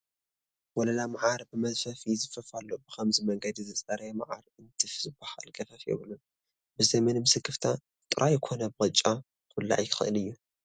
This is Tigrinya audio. ወለላ መዓር ብመዝፈፊ ይዝፈፍ ኣሎ፡፡ ብኸምዚ መንገዲ ዝፀረየ መዓር እንትፍ ዝበሃል ገፈፋ የብሉን፡፡ ብዘይምንም ስክፍታ ጥራዩ ኮነ ብቅጫ ክብላዕ ይኽእል እዩ፡፡